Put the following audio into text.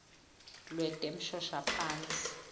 lwetemshoshaphasi